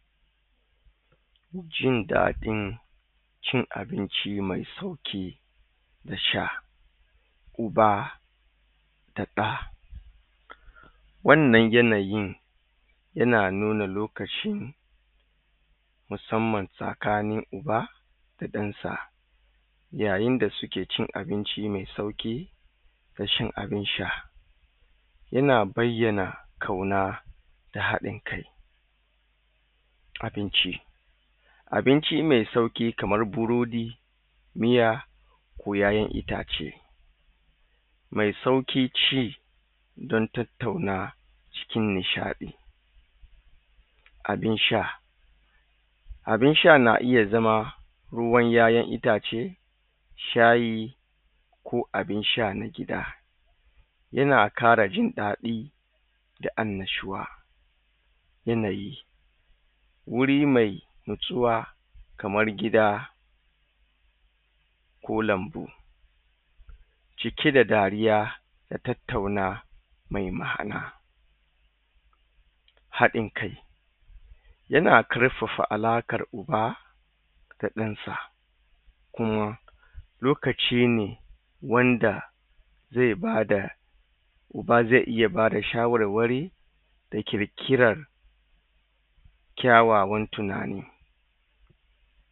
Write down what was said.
Jin daɗin cin abinci me sauƙi na sha uba da ɗa wannan yanayin yana nuna lokaci musamman tsakanin uba da ɗansa yayin da suke cin abinci me sauƙi da shan abin sha yana baiyana ƙauna da haɗin kai abinci abinci me sauƙi kaman birodi miya bo yaiyan itace me sauƙin cin dan tattauna cikin nishaɗi abin sha abin sha na iya zama ruwan YaYan itace shayi ko abin sha na gida yana ƙara jin daɗi da annashuwa yanayi wuri mai na tsuwa kamar gida ko lambu cike da dariya da tattauna mai ma'ana haɗin kai yana ƙar fafa alaƙan uba da ɗansa kuma lokaci ne wanda ze bada uba ze iya bada sha warwari da ƙirƙiran kyawawan tinani